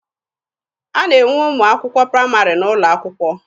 A na-enwe ụmụ akwụkwọ praịmarị n'ụlọ akwụkwọ.